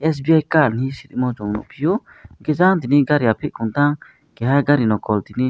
sibi ka lis tomo nugfio kisa tini gari ati tong fa keha gari nokol tini.